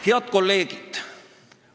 Head kolleegid!